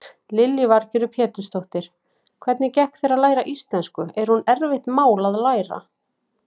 Lillý Valgerður Pétursdóttir: Hvernig gekk þér að læra íslensku, er hún erfitt mál að læra?